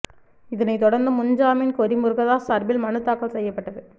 இதனை தொடர்ந்து முன் ஜாமீன் கோரி முருகதாஸ் சார்பில் மனு தாக்கல் செய்யபட்டது